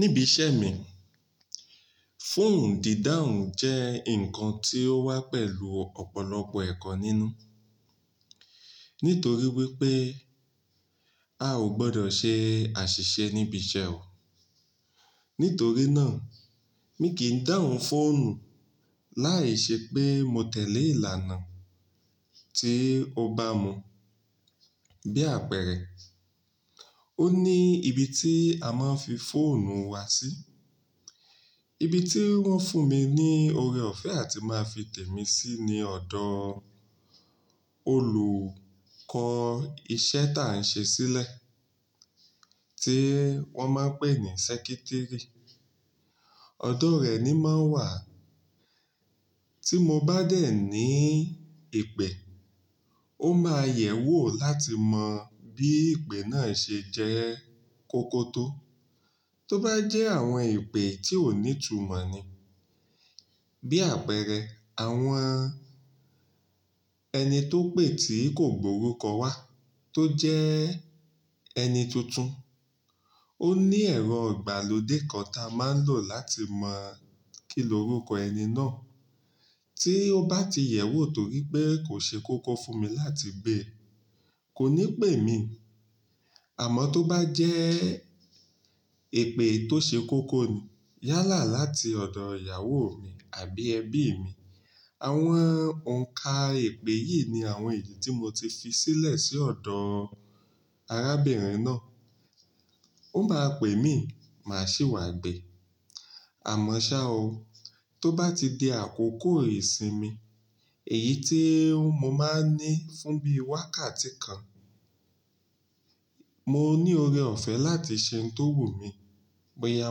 Níbi iṣẹ́ mi, fóònù dídáhun jẹ́ ǹkan tí ó wá pẹ̀lú ọ̀pọ̀lọpọ̀ ẹ̀kọ́ nínú. Nítorí wípé a ò gbọdọ̀ ṣe àṣìṣe níbi iṣẹ́ o. Nítorí náà, mi kì í dáhùn fóònù láìṣe pé mo tẹ̀lé ìlànà tí ó bá mu. Bí àpẹẹrẹ, ó ní ibi tí a máa ń fi fóònù wa sí. Ibi tí wọ́n fún mi ní ore ọ̀fẹ́ a ti máa fi tẹ̀ mí sí ni ọ̀dọ̀ olùkọ́ iṣẹ́ táà ń ṣe sílẹ̀ tí wọ́n máa ń pè ní sẹ́kítírì. Ọ̀dọ̀ rẹ̀ ni máa ń wà. Tí mo bá dẹ̀ ní ìpè, ó máa yẹ̀wò láti mọ bí ìpè náà ṣe jẹ́ kọ́kọ́ tó. Tó bá jẹ́ àwọn ìpè tí ò ní tumọ̀ ni, bí àpẹẹrẹ àwọn ẹni tó pè tí kò gbọ́ orúkọ wa tó jẹ ẹni tuntun, ó ní ẹ̀rọ ìgbàlódé kan ta a máa ń lò láti mọ̀ kí ni orúkọ ẹni náà. Tí ó bá ti yẹ̀wò torí pé kò ṣe kókó fún mi láti gbẹ̀, kò ní pè mí. Àmọ́ tó bá jẹ́ ìpè tó ṣe kókó ni yálà láti ọ̀dọ̀ ìyàwó mi àbí ẹbí mi, àwọn òǹkà ìpè yìí ni àwọn èyí tí mo ti fi sílẹ̀ sí ọ̀dọ̀ arábìnrin náà. Ó máa pè mí, màá sì wá gbe. Àmọ́ ṣá o, tó bá ti di àkókò ìsinmi, èyí tí mo máa ń ní fún bíi wákàtí kan, mo ní ore ọ̀fẹ́ láti ṣe ohun tó wù mí. Bóyá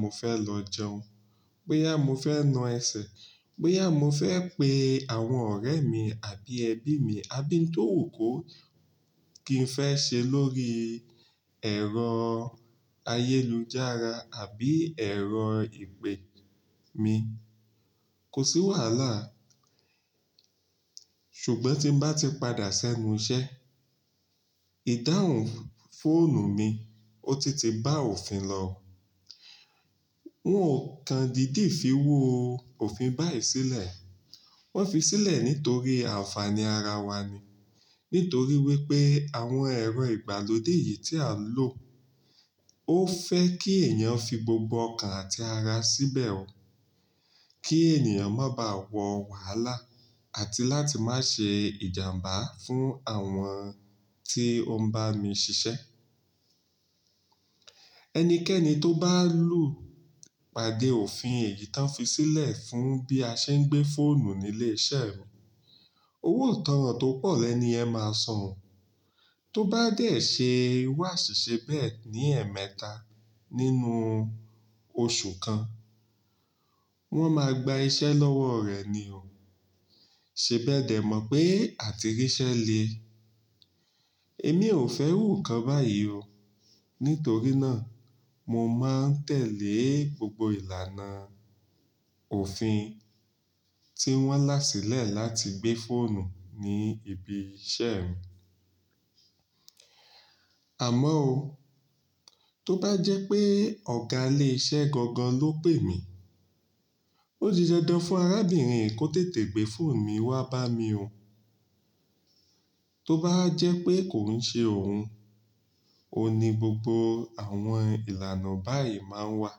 mo fẹ́ lọ jẹun, bóyá mo fẹ́ na ẹsẹ̀, bóyá mo fẹ́ pe àwọn ọ̀rẹ́ mi àbí ẹbí mi, abín tó wù kó kí n fẹ́ ṣe lórí ẹ̀rọ ayélujára àbí ẹ̀rọ ìpè mi, kò sí wàhálà. Ṣùgbọ́n tí bá ti padà sẹ́nu iṣẹ́, ìdáhùn fóònù mi ó ti ti bá òfin lọ. Wọn ò kan dìdí fi wóò òfin báyìí sílẹ̀. Wọ́n fi sílẹ̀ nítorí ànfàní ara wa ni. Nítorí wípé àwọn ẹ̀rọ ìgbàlódé yìí tí a ń lò ó fẹ́ kí èèyàn fi gbogbo ọkàn àti ara síbẹ̀ o kí ènìyàn má ba wọ wàhálà àti láti má ṣe ìjàmbá fún àwọn tí ó ń bá mi ṣiṣẹ́. Ẹnikẹ́ni tó bá lù pàdé òfin èyí tó ń fi sílẹ̀ fún bí a ṣe ń gbé fóònù nílé iṣẹ́ rẹ̀, owó ìtánràn tó pọ̀ lẹ́ ni ẹ máa san. Tó bá dẹ̀ ṣe wàṣìṣe bẹ́ẹ̀ ní ẹ̀ẹ̀mẹta nínú oṣù kan, wọ́n máa gba iṣẹ́ lọ́wọ́ rẹ ni o. Ṣé bẹ́ẹ̀dẹ̀ mọ̀ pé àtìrísẹ́ le? Èmi ò fẹ́ rú nǹkan báyìí o. Nítorí náà, mo máa ń tẹ̀lé gbogbo ìlànà òfin tí wọ́n lá sílẹ̀ láti gbé fóònù ní ibi iṣẹ́ mi. Àmọ́ o, tó bá jẹ́ pé ọ̀gá ilé iṣẹ́ gangan ló pè mí, ó di dandan fún arábìnrin yìí kó tètè gbé fóònù mi wá bá mi o. Tó bá jẹ́ pé kò ń ṣe òun, o ní gbogbo àwọn ìlànà báyìí máa ń wà.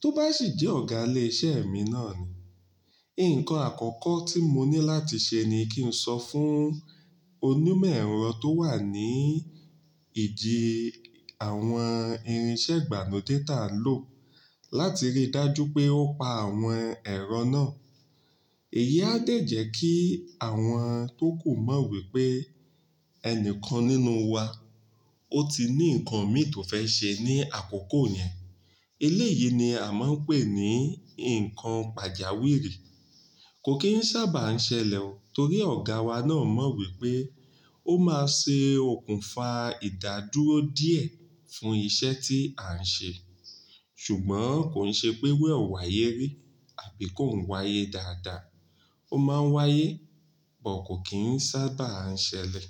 Tó bá sì jẹ́ ọ̀gá ilé iṣẹ́ mi náà ni, ǹkan àkọ́kọ́ tí mo ní láti ṣe ni kí n sọ fún onímọ̀ ẹ̀rọ tó wà ní ìjì àwọn irinṣẹ́ ìgbà nú déltà lò láti rí dájú pé ó pa àwọn ẹ̀rọ náà. Èyí á dẹ̀ jẹ́ kí àwọn tó kò mọ̀ wípé ẹnìkan nínú wa ó ti ní ǹkan mì tó fẹ́ ṣe ní àkókò yẹn. Ilé yìí ni a máa ń pè ní ǹkan pàjáwìrì. Kò kì í sábà ń ṣẹlẹ̀ o torí ọ̀gá wa náà mọ̀ wípé ó máa ṣe òkùnfà ìdádúró díẹ̀ fún iṣẹ́ tí à ń ṣe. Ṣùgbọ́n kò ń ṣe pé wẹ̀ ò wa yéré àbí kó ń wáyé dáadáa. Ó máa ń wáyé, but kò kì í sábà ń ṣẹlẹ̀